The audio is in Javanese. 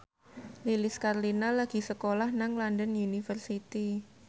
Lilis Karlina lagi sekolah nang London University